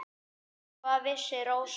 Hvað vissi Rósa.